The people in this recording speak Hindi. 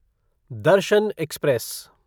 दर्शन एक्सप्रेस